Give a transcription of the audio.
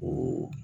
O